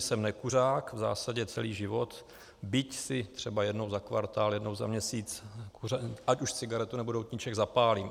Jsem nekuřák v zásadě celý život, byť si třeba jednou za kvartál, jednou za měsíc ať už cigaretu, nebo doutníček zapálím.